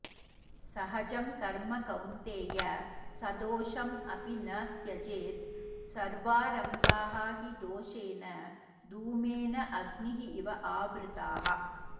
सहजं कर्म कौन्तेय सदोषम् अपि न त्यजेत् सर्वारम्भाः हि दोषेण धूमेन अग्निः इव आवृताः